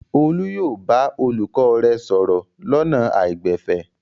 Olú yóò bá olùkọ́ rẹ̀ sọ̀rọ̀ lọ́nà àìgbẹ̀fẹ̀.